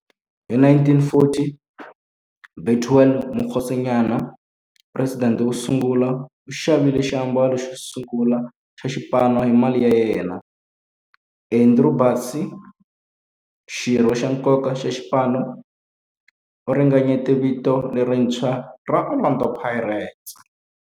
Hi 1940, Bethuel Mokgosinyane, president wosungula, u xavile xiambalo xosungula xa xipano hi mali ya yena. Andrew Bassie, xirho xa nkoka xa xipano, u ringanyete vito lerintshwa ra 'Orlando Pirates'.